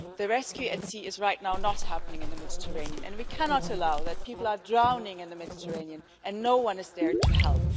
Rescue at sea is right now not happening in the Mediterranean and we cannot allow that people are drowning in the Mediterranean and no one is there to help.